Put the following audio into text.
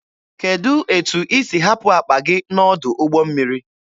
Kedụ etu isi hapụ akpa gị n'ọdụ ụgbọ mmiri?